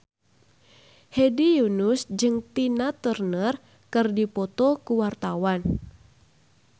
Hedi Yunus jeung Tina Turner keur dipoto ku wartawan